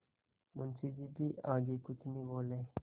मुंशी जी भी आगे कुछ नहीं बोले